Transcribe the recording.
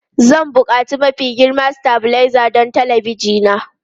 Zan buƙaci mafi girma stabilizer don talabijin na.